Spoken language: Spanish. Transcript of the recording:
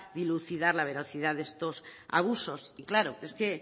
dilucidar la veracidad de estos abusos y claro es que